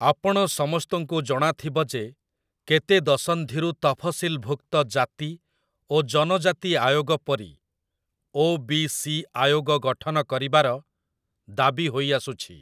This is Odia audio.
ଆପଣ ସମସ୍ତଙ୍କୁ ଜଣାଥିବ ଯେ କେତେ ଦଶନ୍ଧିରୁ ତଫସିଲଭୁକ୍ତ ଜାତି ଓ ଜନଜାତି ଆୟୋଗ ପରି ଓ.ବି.ସି. ଆୟୋଗ ଗଠନ କରିବାର ଦାବି ହୋଇଆସୁଛି ।